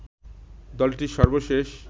দলটির সর্বশেষ